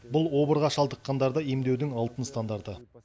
бұл обырға шалдыққандарды емдеудің алтын стандарты